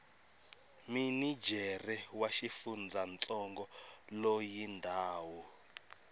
minijere wa xifundzantsongo loyi ndhawu